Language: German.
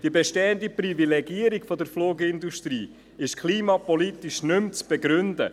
Die bestehende Privilegierung der Flugindustrie ist klimapolitisch nicht mehr zu begründen.